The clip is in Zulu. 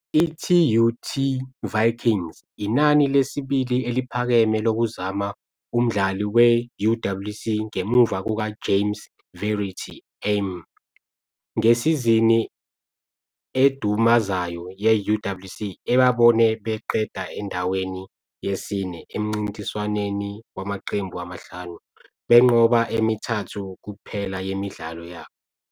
I-TUT Vikings - inani lesibili eliphakeme lokuzama umdlali we-UWC ngemuva kukaJames Verity-Amm - ngesizini edumazayo ye-UWC, ebabone beqeda endaweni yesine emncintiswaneni wamaqembu amahlanu, benqoba emithathu kuphela yemidlalo yabo.